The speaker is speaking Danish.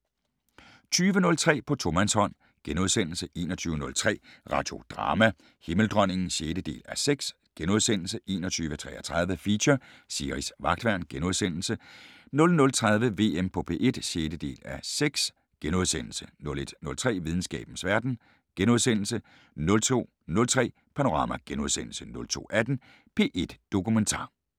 20:03: På tomandshånd * 21:03: Radiodrama: Himmeldronningen (6:6)* 21:33: Feature: Siris Vagtværn * 00:30: VM på P1 (6:6)* 01:03: Videnskabens Verden * 02:03: Panorama * 02:18: P1 Dokumentar *